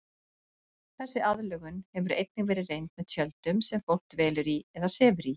Þessi aðlögun hefur einnig verið reynd með tjöldum sem fólk dvelur í eða sefur í.